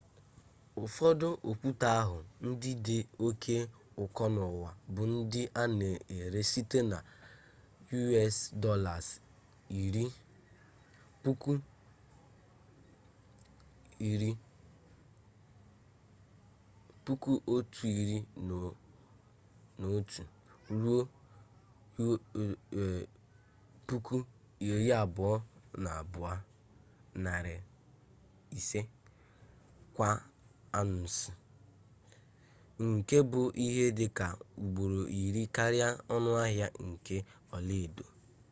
ụfọdụ okwute ahụ ndị dị oke ụkọ n’ụwa bụ ndị a na-ere site na us$11,000 ruo $22,500 kwa aunsị nke bụ ihe dị ka ugboro iri karịa ọnụahịa nke ọlaedo